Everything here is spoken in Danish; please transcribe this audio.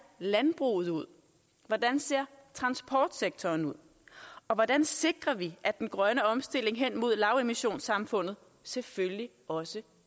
landbruget ud hvordan ser transportsektoren ud og hvordan sikrer vi at den grønne omstilling hen imod lavemissionssamfundet selvfølgelig også